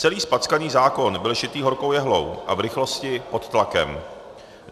Celý zpackaný zákon byl šitý horkou jehlou a v rychlosti pod tlakem.